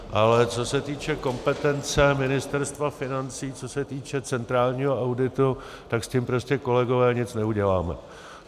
Ale co se týče kompetence Ministerstva financí, co se týče centrálního auditu, tak s tím prostě, kolegové, nic neuděláme.